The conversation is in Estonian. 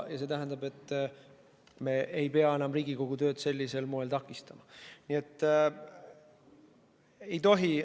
Ja see tähendab, et me ei pea enam Riigikogu tööd sellisel moel takistama.